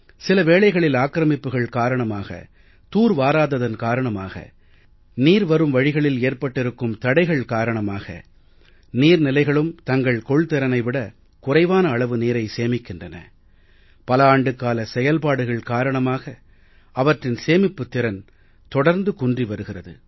சில வேளைகளில் ஆக்ரமிப்புக்கள் காரணமாக தூர் வாராததன் காரணமாக நீர் வரும் வழிகளில் ஏற்பட்டிருக்கும் தடைகள் காரணமாக நீர் நிலைகளும் தங்கள் கொள் திறனை விடக் குறைவான அளவு நீரை சேமிக்கின்றன பல ஆண்டுக்கால செயல்பாடுகள் காரணமாக அவற்றின் சேமிப்புத் திறன் தொடர்ந்து குன்றி வருகிறது